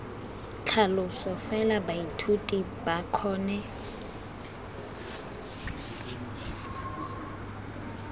tlhaloso fela baithuti ba kgone